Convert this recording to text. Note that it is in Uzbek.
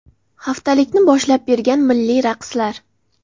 Haftalikni boshlab bergan milliy raqslar.